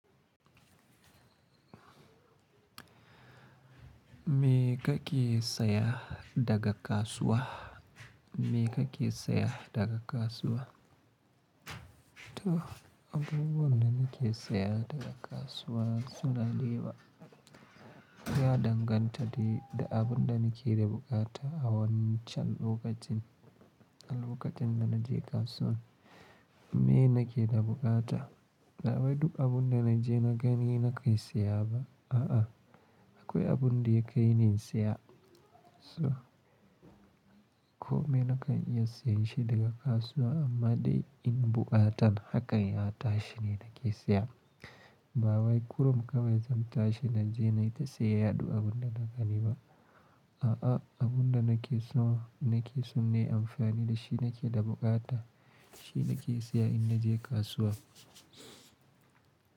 Me ka ke saya daga kasuwa? Me ka ke saya daga kasuwa? To, abubuwan da nake saya daga kasuwa suna da yawa. Ya danganta da abin da nake da buƙata a wancan lokacin, a lokacin da na je kasuwa. Me na ke da buƙata? Ba wai duk abun da na je na gani na kai saya ba, a'a. Akwai abun da ya kai ni in saya. So, ko me na ka iya sayar shi daga kasuwa amma dai in buƙata haka ya tashi ne nake saya. Ba wai kurum kawai zan tashi na je na yi ta saya duk abun da na gani ba, a'a. Abun da nake so nake so ne amfani da shi nake da buƙata, shi nake saya in naje kasuwa.